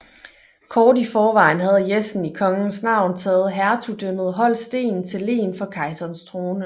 Kort i forvejen havde Jessen i kongens navn taget hertugdømmet Holsten til len for kejserens trone